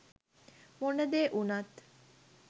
මොන දේ උනත්